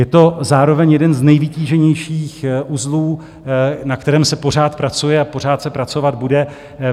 Je to zároveň jeden z nejvytíženějších uzlů, na kterém se pořád pracuje a pořád se pracovat bude.